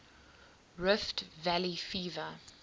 rift valley fever